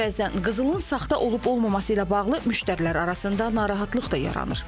Bəzən qızılın saxta olub-olmaması ilə bağlı müştərilər arasında narahatlıq da yaranır.